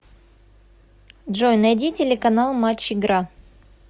джой найди телеканал матч игра